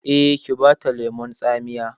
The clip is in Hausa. Eh, ki bata lemon tsamiya